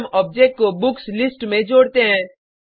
फिर हम ऑब्जेक्ट को बुक्स लिस्ट में जोड़ते हैं